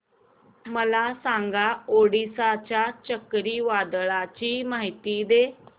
मला सांगा ओडिशा च्या चक्रीवादळाची माहिती